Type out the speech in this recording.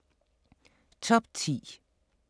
Top 10